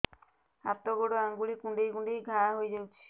ହାତ ଗୋଡ଼ ଆଂଗୁଳି କୁଂଡେଇ କୁଂଡେଇ ଘାଆ ହୋଇଯାଉଛି